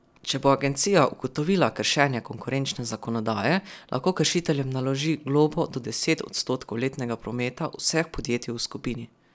Če bo agencija ugotovila kršenje konkurenčne zakonodaje, lahko kršiteljem naloži globo do deset odstotkov letnega prometa vseh podjetij v skupini.